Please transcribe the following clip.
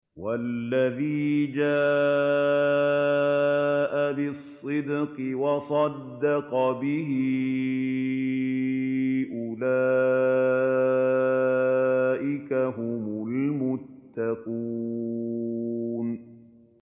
وَالَّذِي جَاءَ بِالصِّدْقِ وَصَدَّقَ بِهِ ۙ أُولَٰئِكَ هُمُ الْمُتَّقُونَ